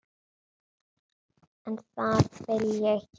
En það vil ég gera.